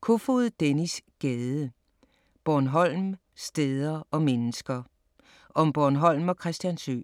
Kofod, Dennis Gade: Bornholm: steder og mennesker Om Bornholm og Christiansø.